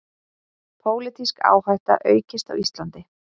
Pólitísk áhætta aukist á Íslandi